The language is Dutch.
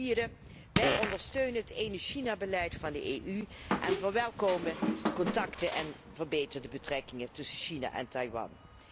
Ten vierde, wij ondersteunen het 'één China' beleid van de EU en verwelkomen de contacten en verbeterde betrekkingen tussen China en Taiwan.